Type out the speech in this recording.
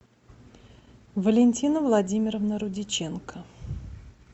валентина владимировна рудиченко